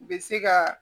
U bɛ se ka